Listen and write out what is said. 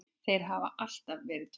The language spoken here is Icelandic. Þeir hafa alltaf verið tveir.